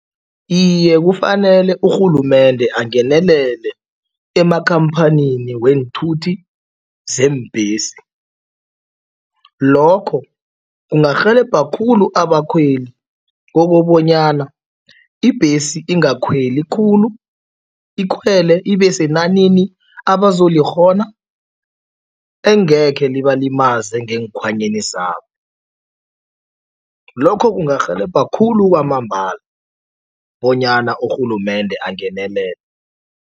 Iye, kufanele urhulumende angenelele emakhamphanini weenthuthi zeembhesi. Lokho kungarhelebha khulu abakhweli kokobanyana ibhesi ingakhweli khulu, ikhwele ibesenanini abazolikghona engekhe libalimaze ngeenkhwanyeni zabo. Lokho kungarhelebha khulu kwamambala bonyana urhulumende angenelele.